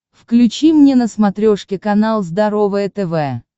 включи мне на смотрешке канал здоровое тв